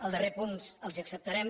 el darrer punt els l’acceptarem